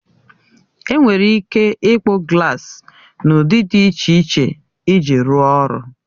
Enwere ike ịkpụ glaasi n'ụdị dị iche iche iji rụọ ọrụ.